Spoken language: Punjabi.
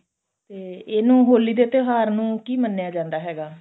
ਤੇ ਇਹਨੂੰ ਹੋਲੀ ਦੇ ਤਿਉਹਾਰ ਨੂੰ ਕੀ ਮੰਨਿਆ ਜਾਂਦਾ ਹੈਗਾ